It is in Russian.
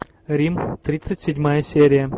рим тридцать седьмая серия